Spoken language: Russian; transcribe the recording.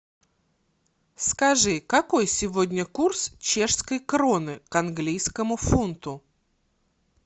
скажи какой сегодня курс чешской кроны к английскому фунту